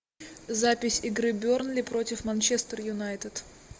запись игры бернли против манчестер юнайтед